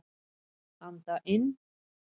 Anda inn.